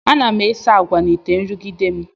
Ana m esi agwa n'ite nrụgide m.